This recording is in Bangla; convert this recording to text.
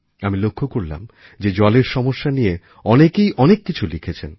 আমি লক্ষ্য করলাম যে জলের সমস্যা নিয়ে অনেকেই অনেক কিছু লিখেছেন